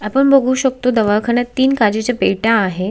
आपण बघु शकतो दवाखाण्यात तीन काचेच्या पेट्या आहेत.